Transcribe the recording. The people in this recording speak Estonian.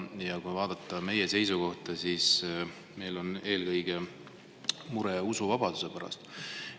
Ja kui vaadata meie seisukohta, siis meil on eelkõige mure usuvabaduse pärast.